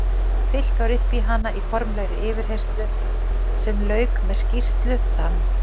Fyllt var upp í hana í formlegri yfirheyrslu sem lauk með skýrslu þann